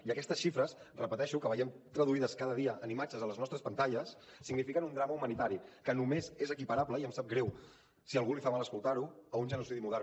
i aquestes xifres ho repeteixo que veiem traduïdes cada dia en imatges a les nostres pantalles signifiquen un drama humanitari que només és equiparable i em sap greu si a algú li fa mal escoltar ho a un genocidi modern